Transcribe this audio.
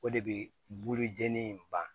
O de bɛ bukuri jɛni in ban